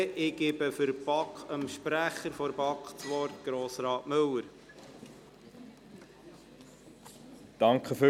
Ich gebe dem Sprecher der BaK, Grossrat Müller, das Wort.